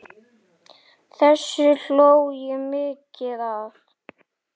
Þessu hló ég mikið að.